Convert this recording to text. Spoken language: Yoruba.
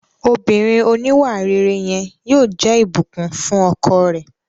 Obìnrin òníwàrere yẹn yóò jẹ́ Ìbùkún fún ọkọ rẹ̀